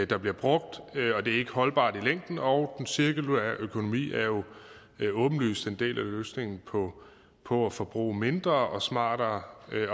der bliver brugt det er ikke holdbart i længden og den cirkulære økonomi er jo åbenlyst en del af løsningen på på at forbruge mindre og smartere